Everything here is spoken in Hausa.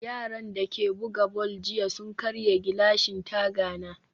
yaran dake buga ball jiya sun karya gilashin tagani